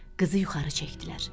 Qızı yuxarı çəkdilər.